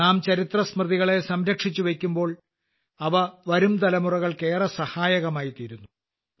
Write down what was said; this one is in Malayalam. നാം ചരിത്രസ്മൃതികളെ സംരക്ഷിച്ച് വയ്ക്കുമ്പോൾ അവ വരുംതലമുറകൾക്ക് ഏറെ സഹായകമായി തീരുന്നു